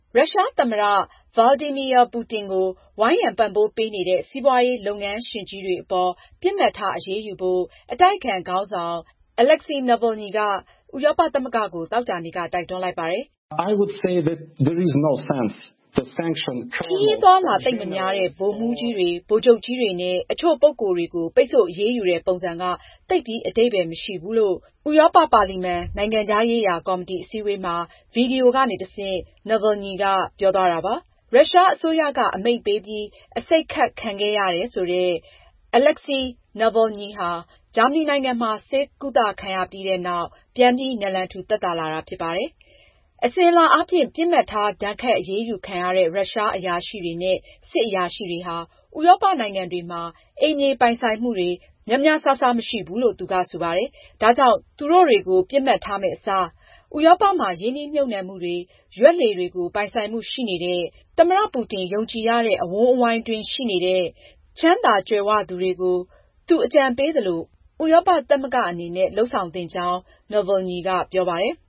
ရုရှားသမ္မတ Vladimir Putin ကို ဝိုင်းရံပံ့ပိုးပေးနေတဲ့ စီးပွားရေးလုပ်ငန်းရှင်ကြီးတွေအပေါ် ပစ်မှတ်ထား အရေးယူဖို့ အတိုက်အခံခေါင်းဆောင် Alexei Navalny က ဥရောပသမဂ္ဂကို သောကြာနေ့က တိုက်တွန်းလိုက်ပါတယ်။ ” ခရီးအသွားအလာ သိပ်မများတဲ့ ဗိုလ်မှူးကြီးတွေ၊ ဗိုလ်ချုပ်ကြီးတွေနဲ့အချို့ ပုဂ္ဂိုလ်တွေကို ပိတ်ဆို့အရေးယူတဲ့ ပုံစံက သိပ်ပြီး အဓိပ္ပါယ်မရှိပါဘူး။” လို့နည်းဗျူဟာ အသစ်အတွက် ဥရောပ ပါလီမန် နိုင်ငံခြားရေးရာကော်မတီ အစည်းအဝေးမှာ ဗွီဒီယိုကနေတဆင့် Navalny ကပြောသွားတာပါ။ ရုရှားအစိုးရအမိန့်ပေးပြီး အဆိပ်ခတ်ခံခဲ့ရတယ်ဆိုတဲ့ Alexei Navalny ဟာ ဂျာမနီနိုင်ငံမှာ ဆေးကုသခံရပြီးနောက် ပြန်ပြီး နလန်ထူ သက်သာလာပြီ ဖြစ်ပါတယ်။ အစဉ်အလာအားဖြင့် ပစ်မှတ်ထား ဒဏ်ခတ်အရေးယူခံရတဲ့ ရုရှားအရာရှိတွေနဲ့ စစ်အရာရှိတွေဟာ ဥရောပနိုင်ငံတွေမှာ အိမ်မြေပိုင်ဆိုင်မှုနဲ့ ဘဏ်အကောင့်တွေ ဆိုတာမျိုး များများစားစားမရှိဘူလို့လည်း သူက ဆိုပါတယ်။ ဒါကြောင့် သူတွေကို ပစ်မှတ်ထားမယ့်အစား ဥရောပမှာ ရင်းနှီးမြှုပ်နှံမှုတွေ၊ ရွက်လှေတွေ ပိုင်ဆိုင်မှုတွေရှိနေတဲ့ သမ္မတ Putin ယုံကြည်ရတဲ့ အဝန်းအဝိုင်းအတွင်းရှိနေတဲ့ ချမ်းသာကြွယ်ဝသူတွေကို သူအကြံပေးသလို ဥရောပသမဂ္ဂအနေနဲ့ လုပ်သင့်ကြောင်း Navalny က ပြောပါတယ်။